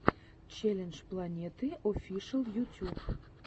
челлендж планеты оффишл ютюб